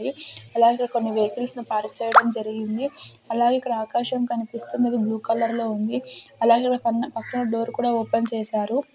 అలాగే కొన్ని వెహికల్స్ ని పార్క్ చేయడం జరిగింది అలాగే ఇక్కడ ఆకాశం కనిపిస్తుంది అది బ్లూ కలర్ లో ఉంది అలాగే పన్ పక్కన డోర్ కూడా ఓపెన్ చేశారు.